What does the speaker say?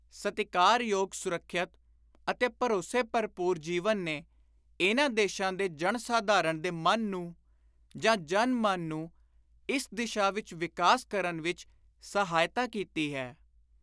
ਸਤਿਕਾਰ ਯੋਗ, ਸੁਰੱਖਿਅਤ ਅਤੇ ਭਰੋਸੇ ਭਰਪੂਰ ਜੀਵਨ ਨੇ ਇਨ੍ਹਾਂ ਦੇਸ਼ਾਂ ਦੇ ਜਨ-ਸਾਧਾਰਣ ਦੇ ਮਨ ਨੂੰ ਜਾਂ ‘ਜਨ-ਮਨ’ ਨੂੰ ਇਸ ਦਿਸ਼ਾ ਵਿਚ ਵਿਕਾਸ ਕਰਨ ਵਿਚ ਸਹਾਇਤਾ ਕੀਤੀ ਹੈ।